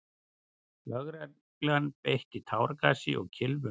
Lögregla beitti táragasi og kylfum.